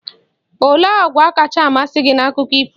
Olee àgwà kacha amasị gị na Akụkọ ifo?